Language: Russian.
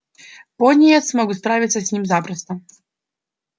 пониетс мог бы справиться с ним запросто